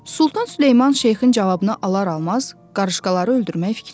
Sultan Süleyman şeyxin cavabını alar-almaz qarışqaları öldürmək fikrindən daşındı.